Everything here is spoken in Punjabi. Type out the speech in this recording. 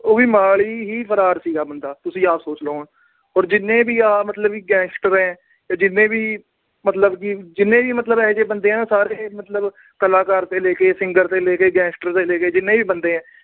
ਉਹ ਵੀ ਮੋਹਾਲੀ ਹੀ ਫਰਾਰ ਸੀਗਾ ਬੰਦਾ। ਤੁਸੀਂ ਆਪ ਸੋਚ ਲੋ ਹੁਣ। ਔਰ ਜਿੰਨੇ ਵੀ ਆ ਮਤਲਬ gangster ਆ, ਆ ਜਿੰਨੇ ਵੀ ਮਤਲਬ ਇਹੋ ਜੇ ਬੰਦੇ ਆ, ਜਿੰਨੇ ਵੀ ਮਤਲਬ ਸਾਰੇ, ਕਲਾਕਾਰ ਤੋਂ ਲੈ ਕੇ, singer ਤੋਂ ਲੈ ਕੇ, gangster ਤੋਂ ਲੈ ਕੇ, ਜਿੰਨੇ ਵੀ ਆ